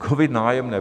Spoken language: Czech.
COVID - Nájemné.